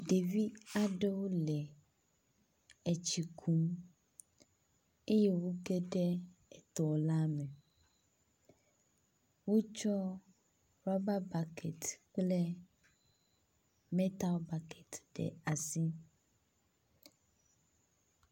ɖevi aɖewo le etsi kum eye wó geɖe etɔla me, wó tsɔ raba bakɛt kple metal bakɛt ɖe asi